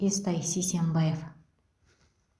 естай сисенбаев